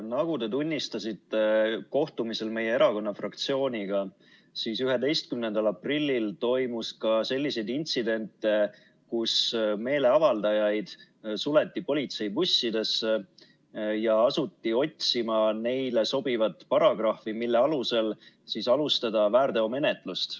Nagu te tunnistasite kohtumisel meie erakonna fraktsiooniga, toimus 11. aprillil ka selliseid intsidente, kus meeleavaldajaid suleti politseibussidesse ja asuti otsima neile sobivat paragrahvi, mille alusel alustada väärteomenetlust.